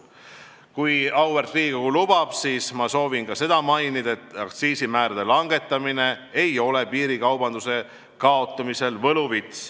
Kui auväärt Riigikogu lubab, siis ma soovin mainida, et aktsiisimäärade langetamine ei ole piirikaubanduse kaotamisel võluvits.